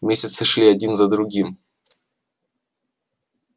месяцы шли один за другим